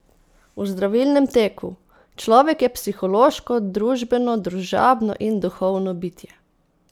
O zdravilnem teku: "Človek je psihološko, družbeno, družabno in duhovno bitje.